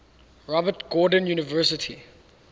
robert gordon university